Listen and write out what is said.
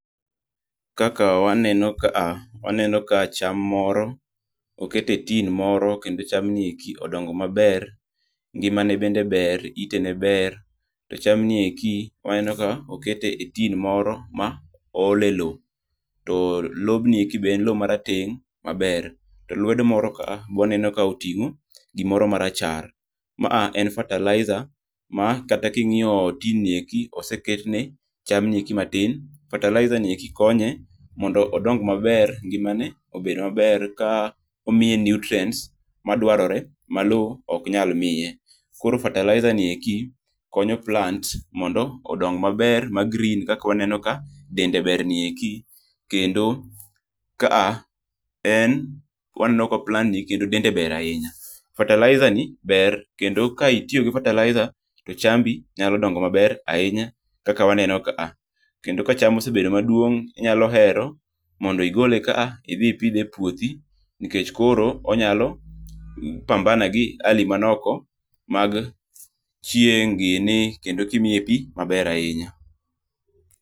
Kaka waneno kaa, waneno ka cham moro oket e tin moro kendo cham nieki odongo maber, ngima ne bende ber, ite ne ber. To cham nieki, waneno ka okete e tin moro ma ool e loo. To lob nieki be en loo ma rateng' maber. To lwedo moro kaa be waneno ka oting'o gimoro ma rachar. Maa en fertilizer ma kata king'iyo tin nieki oseketne cham nieki matin. Fertilizer nieki konye mondo odong maber, ngima ne obed maber ka omiye nutrients ma dwarore ma loo oknyal mie. Koro fertilizer nieki konyo plants mondo odong maber ma green kaka waneno ka dende ber nieki. Kendo kaa en waneno ka plant ni kendo dende ber ahinya. Fertilizer ni ber, kendo ka itiyo gi fertilizer to chambi nyalo dongo maber ahinya kaka waneno kaa. Kendo ka cham osebedo maduong' inyalo hero mondo igole kaa idhi ipidhe e puothi. Nikech koro onyalo pambana gi hali man oko mag chieng' gini, kendo kimiye pii, maber ahinya.